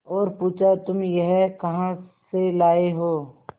और पुछा तुम यह कहा से लाये हो